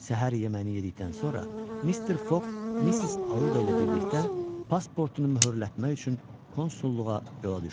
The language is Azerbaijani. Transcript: Səhər yeməyini yedikdən sonra Mister Foq Missis Auda ilə birlikdə pasportunu möhürlətmək üçün konsulluğa yola düşdü.